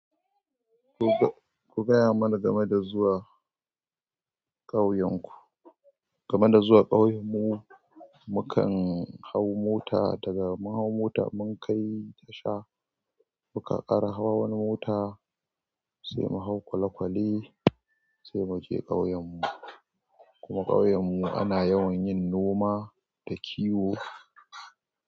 Ku gaya mana game da zuwa ƙauyenku. Game da zuwa ƙauyen mu, mukan hau mota daga mun hau mota mun kai tasha muka ƙara hawa wani mota sai mu hau kwale-kwale sai muje ƙauyen mu. Kuma ƙauyen mu ana yawan yin noma da kiwo.